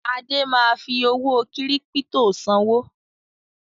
Adé ma fi owó kírípítò sanwó